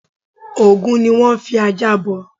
Ògún ni wón n fi ajá bọ